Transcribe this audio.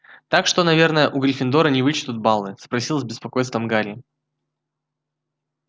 так что наверное у гриффиндора не вычтут баллы спросил с беспокойством гарри